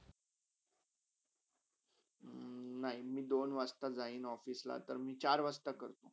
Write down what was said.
हम्म नय मी दोन वाजताते जायन ऑफिसला तर मी चार वाजता करतो.